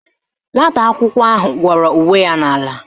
Nwata akwụkwọ ahụ gwọrọ uwe ya n'ala